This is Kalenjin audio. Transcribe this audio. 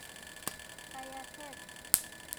Kayatet